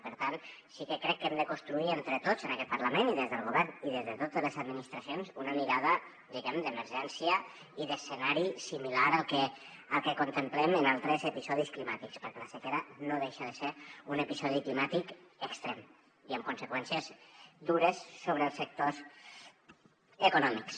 i per tant sí que crec que hem de construir entre tots en aquest parlament i des del govern i des de totes les administracions una mirada diguem ne d’emergència i d’escenari similar al que contemplem en altres episodis climàtics perquè la sequera no deixa de ser un episodi climàtic extrem i amb conseqüències dures sobre els sectors econòmics